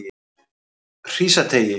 Hrísateigi